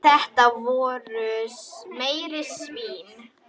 Þetta voru meiri svínin.